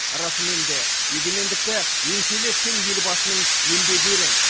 расымен де егемендікті еңселі еткен елбасының еңбегі ерен